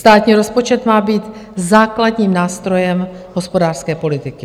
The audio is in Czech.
Státní rozpočet má být základním nástrojem hospodářské politiky.